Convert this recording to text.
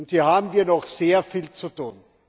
Hier haben wir noch sehr viel zu tun!